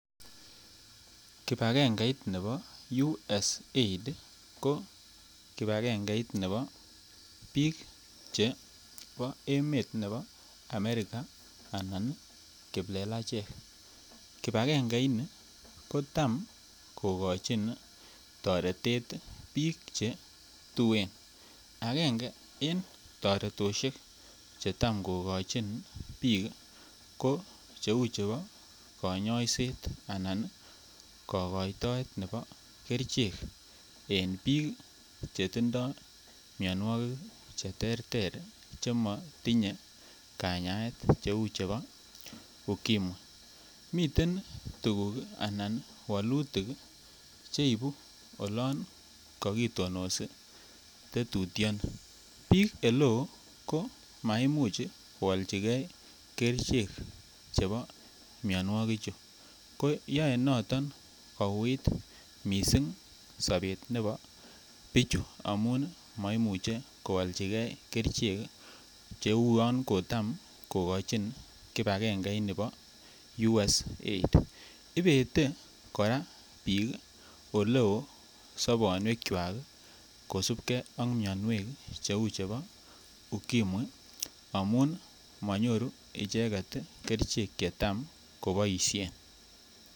Kibagengeit nebo USAID ko kibagengeit nebo biik chebo emet nebo america anan kiplelachek, kibagenge ini kotam kogochin toretet biik che tuen, angenge en toretishek che tam kogochin biik ko che uu chebo konyoiset anan kogoitoet nebo kerichek en biik che tindoi mionwokik che terter che mo tinye kanyaet che u chebo ukimwi, miten tuguk ana wolutik ii che ibu olon kokitonosi tetutioni. Biik ele oo ko maimuch ko oljige kerichek chebo mionwoki chu ko yoe noton kouit missing sobet nebo bichu amun moimuche ko oljige kerichek che uon kotam kogochin kibagenge ini bo USAID. Ibete koraa biik ole oo sobonwekwak kosupgee ak mionwek che uu chebo ukimwi amun monyoru icheget ii kerichek che tam koboishen